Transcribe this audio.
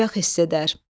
Bədbəxt hiss edər.